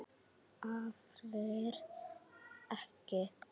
Aðrir ekki.